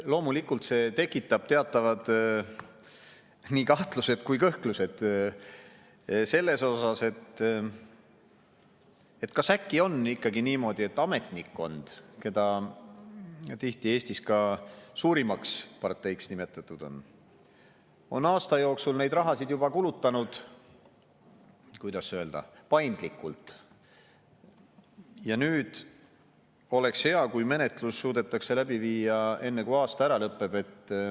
Loomulikult see tekitab teatavad nii kahtlused kui ka kõhklused selles osas, et kas äkki on ikkagi niimoodi, et ametnikkond, keda tihti Eestis ka suurimaks parteiks nimetatud on, on aasta jooksul neid rahasid juba kulutanud – kuidas öelda, paindlikult –, ja nüüd oleks hea, kui menetlus suudetakse läbi viia enne, kui aasta ära lõpeb.